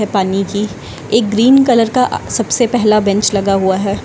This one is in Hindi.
हैं पानी की एक ग्रीन कलर का सबसे पहला बेंच लगा हुआ है।